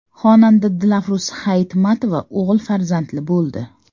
Xonanda Dilafruz Hayitmatova o‘g‘il farzandli bo‘ldi.